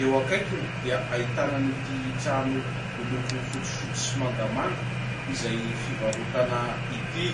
,eo akaikiny dia hahitana ity trano miloko fotsifotsy sy mangamanga izay fivarotana ity